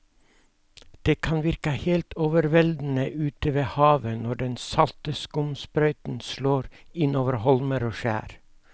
Det kan virke helt overveldende ute ved havet når den salte skumsprøyten slår innover holmer og skjær.